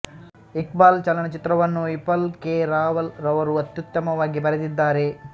ಇಕ್ಬಾಲ್ ಚಲನಚಿತ್ರವನ್ನು ವಿಪುಲ್ ಕೆ ರಾವಲ್ ರವರು ಅತ್ಯುತ್ತಮವಾಗಿ ಬರೆದಿದ್ದಾರೆ